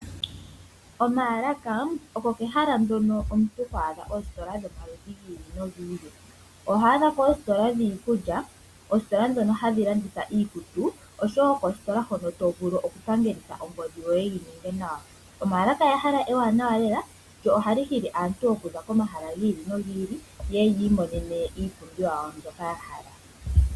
Omaalaka ogo ehala ndono ho adha oositola dhi ili nodhi ili. Oho adha ko oositola dhiikulya, oositola dhono hadhi landitha iikutu, oshowo koositola hono to vulu okupangelitha ongodhi yoye yi ninge nawa. Omaalaka ehala ewanawa lela lyo ohali hili aantu okuza komahala gi ili nogi il, yeye ya imonene iipumbiwa yawo mbyoka ya hala.